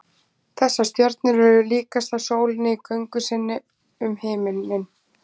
þessar stjörnur eru líkastar sólinni í göngu sinni um himininn